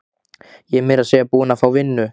Ég er meira að segja búin að fá vinnu.